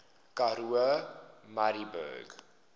karoo murrayburg